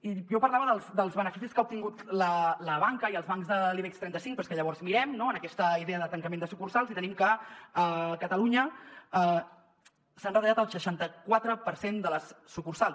i jo parlava dels beneficis que ha obtingut la banca i els bancs de l’ibex trenta cinc però és que llavors mirem no en aquesta idea de tancament de sucursals i tenim que a catalunya s’han retallat el seixanta·quatre per cent de les sucursals